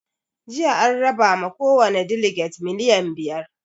Jiya an raba ma kowani daleges miliyan biyar